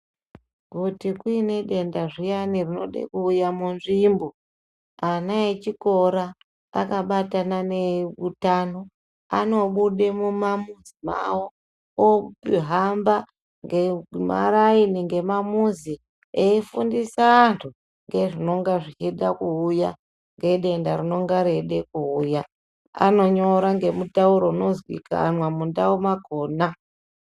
Kuti kuine denda zviyani rinode kuuye munzvimbo ana echikora akabatana neeutano anobude mumamuzi mawo ohamba ngemaraini ngemamuzi efundisa anhu ngezvinonga zvichida kuuya, ngedenda rinonge reida kuuya anonyora ngemutauro unozikanwa mundawu yakona.